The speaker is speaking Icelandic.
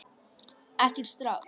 Ekki strax!